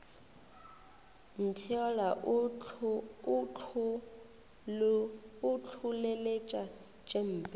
ntheola o ntlholeletša tše mpe